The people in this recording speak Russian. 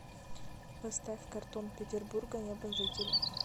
поставь картон петербурга неба жители